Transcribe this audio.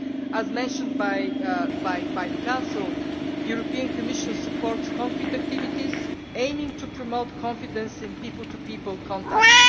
As mentioned by the Council, the Commission supports concrete activities aiming to promote confidence in people to people contacts.